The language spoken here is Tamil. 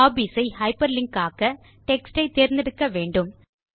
ஹாபீஸ் ஐ ஹைப்பர்லிங்க் ஆக்க டெக்ஸ்ட் ஐ தேர்ந்தெடுக்க வேண்டும்